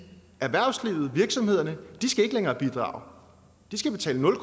erhvervslivet virksomhederne skal ikke længere bidrage de skal betale nul